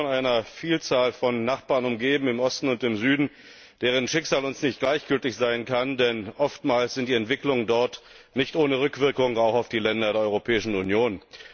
Wir sind von einer Vielzahl von Nachbarn im Osten und im Süden umgeben, deren Schicksal uns nicht gleichgültig sein kann, denn oftmals sind die Entwicklungen dort nicht ohne Rückwirkung auf die Länder der Europäischen Union.